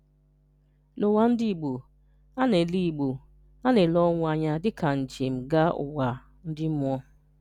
N’ụ́wà ndị́ Ìgbò, a na-elè Ìgbò, a na-elè ọnwụ̀ ànyà dị́kà njem̀ gaà Ụ́wà ndị́ mmụọ̀.